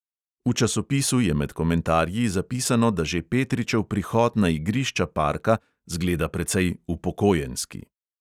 V časopisu je med komentarji zapisano, da že petričev prihod na igrišča parka zgleda precej upokojenski.